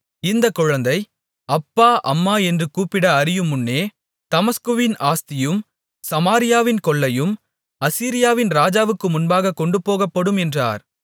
இந்தக் குழந்தை அப்பா அம்மா என்று கூப்பிட அறியுமுன்னே தமஸ்குவின் ஆஸ்தியும் சமாரியாவின் கொள்ளையும் அசீரியாவின் ராஜாவுக்கு முன்பாகக் கொண்டுபோகப்படும் என்றார்